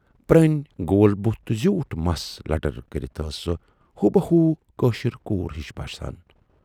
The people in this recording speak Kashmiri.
پٔرٕنۍ، گول بُتھ تہٕ زیٖوٗٹھ مَس لٹھُر کٔرِتھ ٲس سۅ ہوٗبہوٗ کٲشِر کوٗر ہِش باسان۔